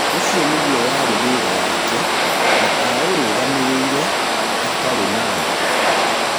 ũcio nĩguo warĩ wĩra wake na aũrũgamĩrĩire atarĩ na tha.